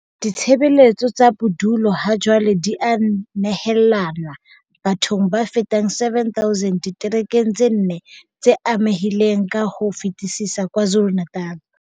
Ditshebeletso tsa bodulo hajwale di a nehelanwa bathong ba fetang 7 000 diterekeng tse nne tse amehileng ka ho fetisisa KwaZulu-Natal.